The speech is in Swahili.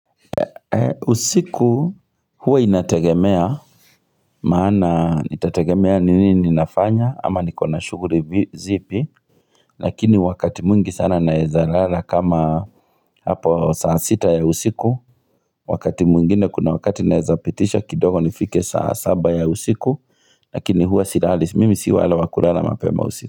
Usiku huwa inategemea Maana itategemea ni nini ninafanya ama nikona shughuli zipi Lakini wakati mwingi sana naeza lala kama hapo saa sita ya usiku Wakati mwingine kuna wakati naeza pitisha kidogo nifike saa saba ya usiku Lakini huwa silali mimi si wale wa kulala mapema usiku.